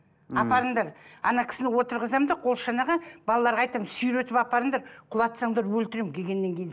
апарыңдар кісіні отырғызамын да қолшанаға балаларға айтамын сүйретіп апарыңдар құлатсаңдар өлтіремін келгеннен кейін